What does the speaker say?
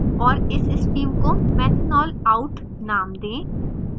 और इस stream को methanol out name दें